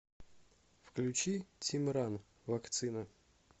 включи тимран вакцина